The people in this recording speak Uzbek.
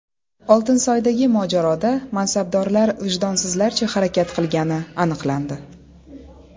Oltinsoydagi mojaroda mansabdorlar vijdonsizlarcha harakat qilgani aniqlandi.